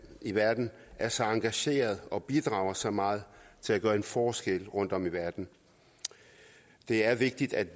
i verden er så engagerede og bidrager så meget til at gøre en forskel rundtom i verden det er vigtigt at